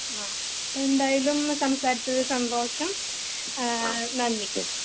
ആഹ് അപ്പൊ എന്തായാലും സംസാരിച്ചതിൽ സന്തോഷം ആഹ് നന്ദി